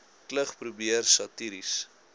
klug probeer satiries